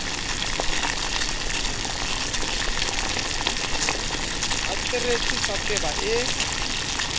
a tsweretse sa tweba e